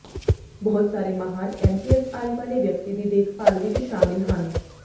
ਬਹੁਤ ਸਾਰੇ ਮਾਹਰ ਐਮਪੀਐਸ ਆਈ ਵਾਲੇ ਵਿਅਕਤੀ ਦੀ ਦੇਖਭਾਲ ਵਿੱਚ ਸ਼ਾਮਿਲ ਹਨ